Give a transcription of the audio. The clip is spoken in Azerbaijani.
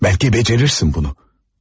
Bəlki becerirsin bunu.